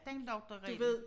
Den lugter rigtig